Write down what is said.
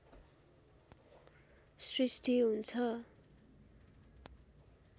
सृष्टि हुन्छ